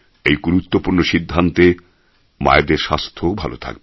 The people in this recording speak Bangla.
এই গুরুত্বপূর্ণ সিদ্ধান্তে মায়েদের স্বাস্থ্যও ভালো থাকবে